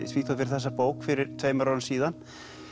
Svíþjóð fyrir þessa bók fyrir tveimur árum síðan